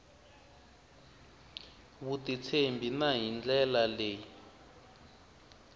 vutitshembi na hi ndlela leyi